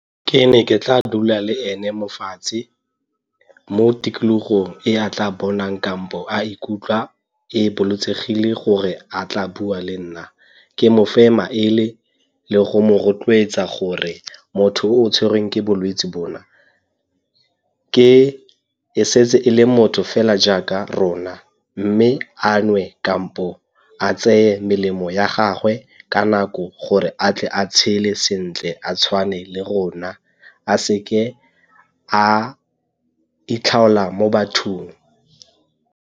Ke ne ke tla dula le ene mo fatshe, mo tikologong e a tla bonang kampo a ikutlwa e gore a tla bua le nna. Ke mofe maele le go mo rotloetsa gore motho o o tshwerweng ke bolwetse bona e setse e le motho fela jaaka rona mme a nwe kampo a tseye melemo ya gagwe ka nako gore a tle a tshele sentle a tshwane le rona, a seke a itlhaola mo bathong.